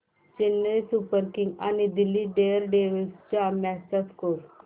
Chennai Super Kings आणि Delhi Daredevils च्या match चा स्कोअर